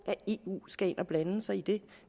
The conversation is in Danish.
at eu skal ind at blande sig i det